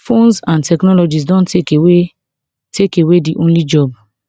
phones and technology don take away take away di only job